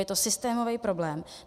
Je to systémový problém.